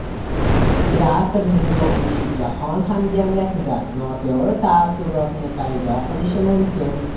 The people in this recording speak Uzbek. Teatrning yopilishi jahon hamjamiyatida noto‘g‘ri taassurotni paydo qilishi mumkin.